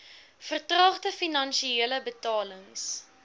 vertraagde finale betalings